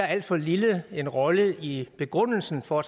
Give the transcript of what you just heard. alt for lille rolle i begrundelsen for at